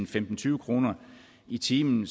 til tyve kroner i timen